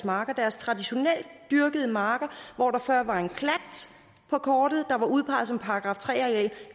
marker deres traditionelt dyrkede marker hvor der før var en klat på kortet der var udpeget som § tre areal